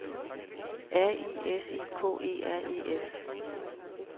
R I S I K E R E S